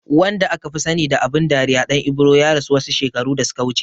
Wanda akafi sani da abin dariya Ɗan Ibro ya rasu wasu shekaru da suka wuce